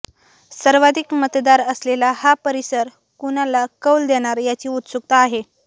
सर्वाधिक मतदार असलेला हा परिसर कुणाला कौल देणार याची उत्सुकता आहे